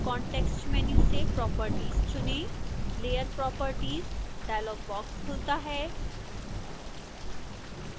context menu से properties चुनें layer properties dialog box खुलता है